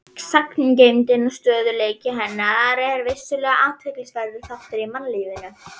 Sagngeymdin og stöðugleiki hennar er vissulega athyglisverður þáttur í mannlífinu.